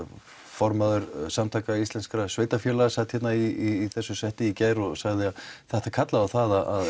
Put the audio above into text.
formaður Samtaka íslenskra sveitafélaga sat hérna í þessu setti í gær og sagði að þetta kallaði á að